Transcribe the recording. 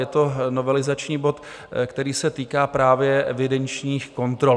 Je to novelizační bod, který se týká právě evidenčních kontrol.